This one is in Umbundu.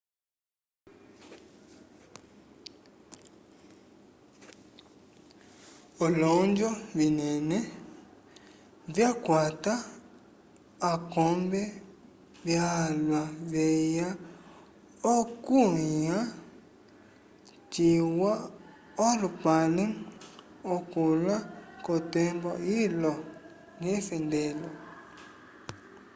olonjo vinene vyakwata akombe valwa veya okukulĩha ciwa olupale ukola k'otembo ilo yefendelo